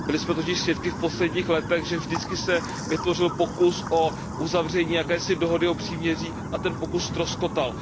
Byli jsme totiž svědky v posledních letech, že se vždy vytvořil pokus o uzavření jakési dohody o příměří a ten pokus ztroskotal.